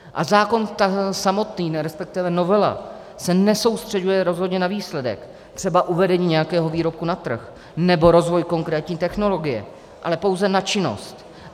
A zákon samotný, respektive novela se nesoustřeďuje rozhodně na výsledek, třeba uvedení nějakého výrobku na trh nebo rozvoj konkrétní technologie, ale pouze na činnost.